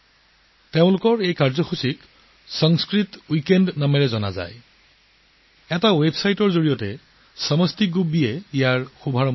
তেওঁলোকৰ এই পদক্ষেপৰ নামকৰণ কৰা হৈছে - সংস্কৃত উইকেণ্ড এটা ৱেবছাইটৰ জৰিয়তে সমাচী বুলবী জীয়ে এই প্ৰচেষ্টা হাতত লৈছে